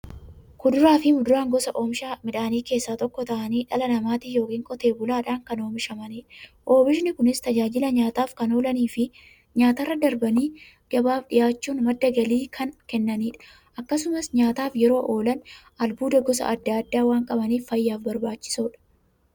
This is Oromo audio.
Kuduraafi muduraan gosa oomishaa keessaa tokko ta'anii, dhala namaatin yookiin Qotee bulaadhan kan oomishamaniidha. Oomishni Kunis, tajaajila nyaataf kan oolaniifi nyaatarra darbanii gabaaf dhiyaachuun madda galii kan kennaniidha. Akkasumas nyaataf yeroo oolan, albuuda gosa adda addaa waan qabaniif, fayyaaf barbaachisoodha.